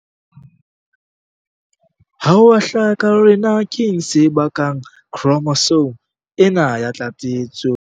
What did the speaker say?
Ha ho a hlaka hore na keng se bakang khromosome ena ya tlatsetso.